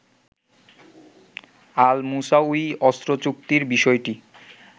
আল Musawi অস্ত্রচুক্তির বিষয়টি